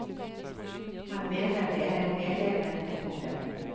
Han mener det er en velegnet metode.